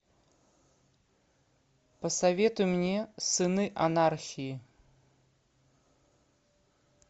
посоветуй мне сыны анархии